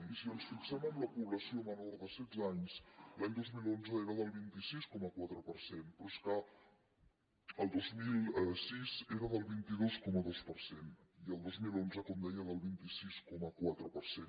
i si ens fixem en la població menor de setze anys l’any dos mil onze era del vint sis coma quatre per cent però és que el dos mil sis era del vint dos coma dos per cent i el dos mil onze com deia del vint sis coma quatre per cent